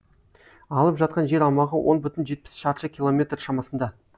алып жатқан жер аумағы он бүтін жетпіс шаршы километр шамасында